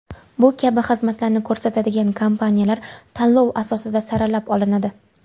Bu kabi xizmatlarni ko‘rsatadigan kompaniyalar tanlov asosida saralab olinadi.